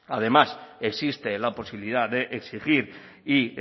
además existe la posibilidad de exigir y